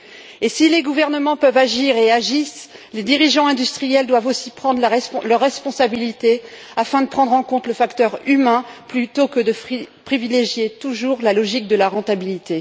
Et si les gouvernements peuvent agir et agissent, les dirigeants industriels doivent aussi prendre leurs responsabilités afin de tenir compte du facteur humain plutôt que de privilégier toujours la logique de la rentabilité.